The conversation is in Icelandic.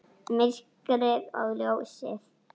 Myrkrið og ljósið.